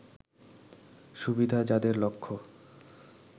সুবিধা যাদের লক্ষ্য